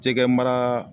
Jɛgɛ mara